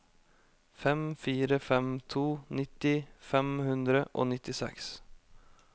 fem fire fem to nitti fem hundre og nittiseks